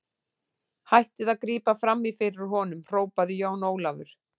Hættið að grípa framí fyrir honum, hrópaði Jón Ólafur.